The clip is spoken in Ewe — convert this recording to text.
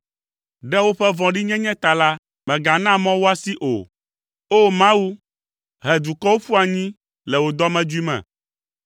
Ɖe woƒe vɔ̃ɖinyenye ta la, megana mɔ woasi o; O! Mawu, he dukɔwo ƒu anyi le wò dɔmedzoe me.